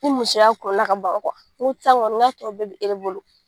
Ni musoya ka ban n ko sisan kɔni n k'a tɔ bɛɛ bɛ e de bolo.